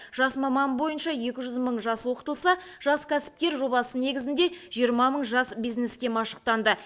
жас маман бойынша екі жүз мың жас оқытылса жас кәсіпкер жобасы негізінде жиырма мың жас бизнеске машықтанды